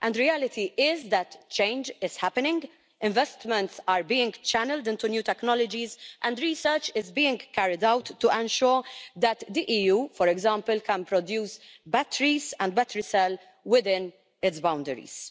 The reality is that change is happening, investments are being channelled into new technologies and research is being carried out to ensure that the EU, for example, can produce batteries and battery cells within its boundaries.